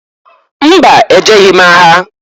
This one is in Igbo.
Mba! E jeghi m agha.